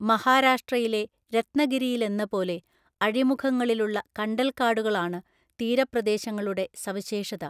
മഹാരാഷ്ട്രയിലെ രത്‌നഗിരിയിലെന്നപോലെ, അഴിമുഖങ്ങളിലുള്ള കണ്ടൽക്കാടുകളാണ് തീരപ്രദേശങ്ങളുടെ സവിശേഷത.